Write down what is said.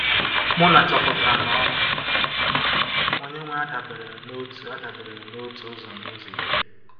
Muna chọpụtara na ọrụ Onye-nwe adabereghị n’otu adabereghị n’otu ụzọ n’ụzọ iri.